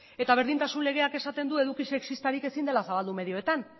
eta berdintasun legeak esaten du eduki sexistarik ezin dela zabaldu medioetan